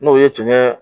N'o ye tiɲɛ